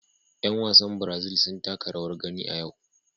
Yan wasan Brazil sun taka rawar gani a yau.